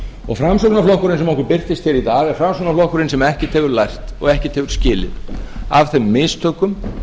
og framsóknarflokkurinn sem okkur birtist hér í dag er framsóknarflokkurinn sem ekkert hefur lært og ekkert hefur skilið af þeim mistökum